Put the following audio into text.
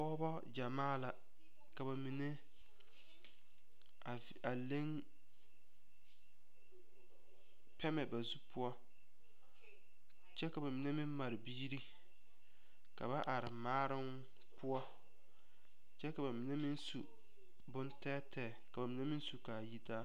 Pɔgeba gyamaa la ka ba mine a leŋ pɛmɛ ba zu poɔ kyɛ ka mine meŋ mare biiri ka ba are maaroŋ poɔ kyɛ ka ba mine meŋ su bone tɛɛtɛɛ ka ba mine meŋ su k,a yitaa.